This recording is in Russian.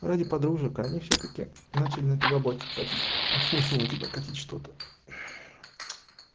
ради подружек они всё-таки начали на тебя бочку катить а смысл на тебя катить что-то